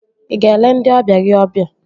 Ị ga-ele ndị ọbịa gị ọbịa?